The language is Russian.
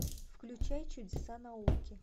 включай чудеса науки